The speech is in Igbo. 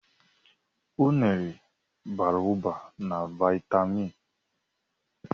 Unere bara ụba na viatamịn